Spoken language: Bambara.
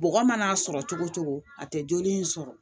Bɔgɔ mana sɔrɔ cogo o cogo a tɛ joli in sɔrɔ